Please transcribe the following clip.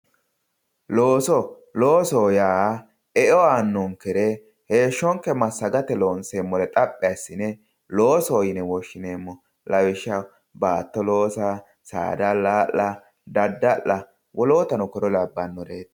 Looso, loosoho yaa eo aanonkere heeshshonke massagate loonseemmo xaphi assine loosoho yinne woshshineemmo lawishshaho baatto loossa ,saada alalla ,daddalla wolootuno kuri labbanoreti .